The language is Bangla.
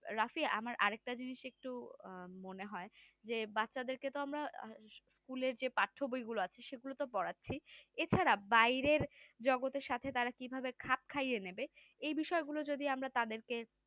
রাফি আমার আর একটা জিনিস একটুও মনে হয় যে বাচ্চা দেরকে তো আমরা school এর যে পাঠ্যবই গুলো আছে সেগুলো তো পড়াচ্ছি এছাড়া বাইরের জগতের সাথে তারা কিভাবে খাপ খাইয়ে নেবে, এই বিষয়গুলো যদি আমরা তাদেরকে